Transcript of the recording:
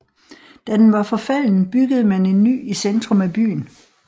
Da den var forfalden byggede man en ny i centrum af byen